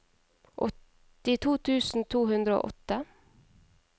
åttito tusen to hundre og åtte